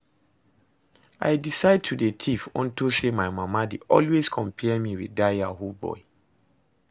I decide to dey thief unto say my mama dey always compare me with dat yahoo boy